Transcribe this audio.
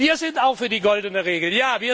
Wir sind auch für die Goldene Regel.